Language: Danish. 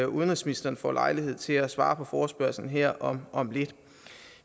udenrigsministeren får lejlighed til at svare på forespørgslen her om om lidt